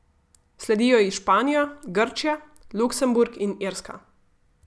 Sledijo ji Španija, Grčija, Luksemburg in Irska.